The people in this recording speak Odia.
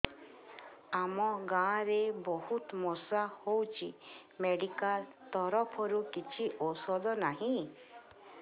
ଆମ ଗାଁ ରେ ବହୁତ ମଶା ହଉଚି ମେଡିକାଲ ତରଫରୁ କିଛି ଔଷଧ ନାହିଁ